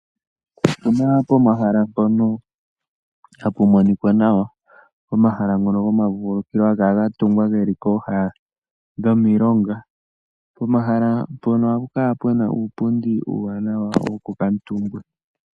Opena pomahala mpono hapu monika nawa. Omahala ngano go mavululukilo pooha dhimilonga . Pomahala mpono